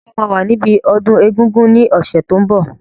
Ṣé o máa wà níbi ọdún egungun ní ọ̀sẹ̀ tó n bọ̀?